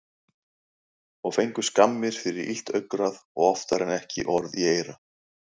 Og fengu skammir fyrir, illt augnaráð og oftar en ekki orð í eyra.